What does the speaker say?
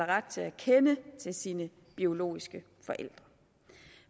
ret til at kende til sine biologiske forældre